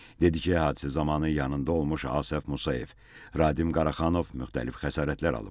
Dedi ki, hadisə zamanı yanında olmuş Asəf Musayev, Radim Qaraxanov müxtəlif xəsarətlər alıb.